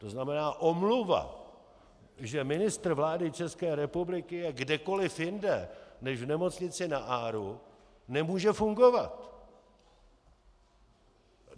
To znamená, omluva, že ministr vlády České republiky je kdekoli jinde než v nemocnici na ARO, nemůže fungovat.